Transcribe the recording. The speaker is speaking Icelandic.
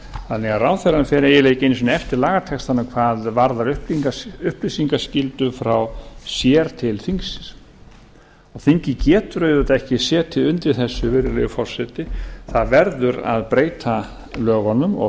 þannig að ráðherrann fer eiginlega ekki einu sinni eftir lagatextanum hvað varðar upplýsingaskyldu frá sér til þingsins þingið getur auðvitað ekki setið undir þessu virðulegi forseti það verður að breyta lögunum og